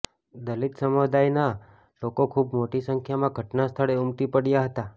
દલિત સમુદાયના લોકો ખૂબ મોટી સંખ્યામાં ઘટનાસ્થળે ઉમટી પડયા હતા